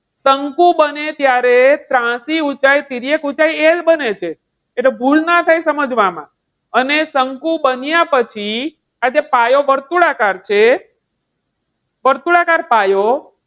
શંકુ બને ત્યારે ત્રાંસી ઊંચાઈ તિર્યક એ બને છે. તો ભૂલ ના થાય સમજવામાં. અને શંકુ બન્યા પછી આજે પાયો વર્તુળાકાર છે વર્તુળાકાર પાયો